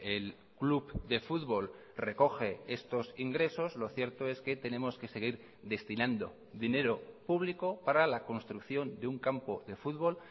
el club de fútbol recoge estos ingresos lo cierto es que tenemos que seguir destinando dinero público para la construcción de un campo de fútbol